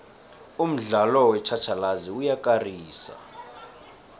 umdlalo wetjhatjhalazi uyakarisa